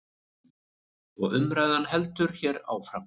Og umræðan heldur hér áfram.